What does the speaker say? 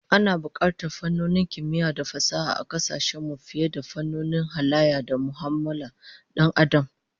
Ana bukatar fannonin kimiyya da fasaha a kasashen mu fiye da fannonin halayya da mu'amalolin Dan Adam